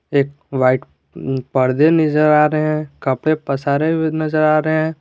एक वाइट पर्दे निजर आ रहे हैं कपड़े पसारे हुए नजर आ रहे हैं।